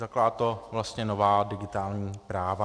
Zakládá to vlastně nová digitální práva.